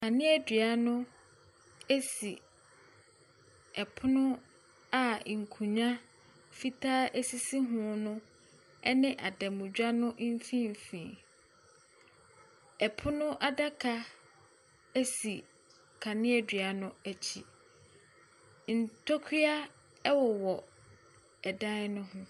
Kanea dua no si pono a nkonnwa fitaa sisi ho no ne adanmutwa no mfimfin. Pono adaka si kanea dua no akyi. Ntokura wowɔ dan ne ho.